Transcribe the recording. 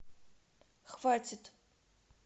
хватит